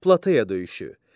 Plateya döyüşü.